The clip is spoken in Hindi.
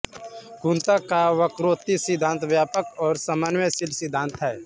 कुंतक का वक्रोक्ति सिद्धांत व्यापक और समन्वयशील सिद्धांत है